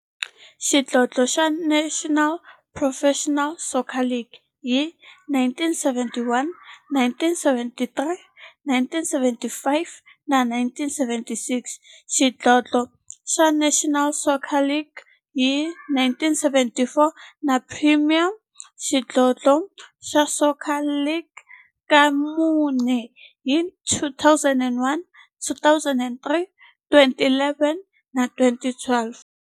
Xidlodlo xa National Professional Soccer League hi 1971, 1973, 1975 na 1976, xidlodlo xa National Soccer League hi 1994, na Premier Xidlodlo xa Soccer League ka mune, hi 2001, 2003, 2011 na 2012.